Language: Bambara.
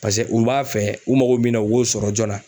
paseke u b'a fɛ u mago bɛ min na u b'o sɔrɔ joona.